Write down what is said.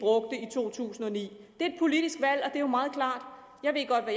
to tusind og ni det er et politisk valg og er jo meget klart jeg ved godt